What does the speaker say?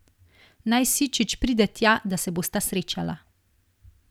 Naj Sičič pride tja, da se bosta srečala.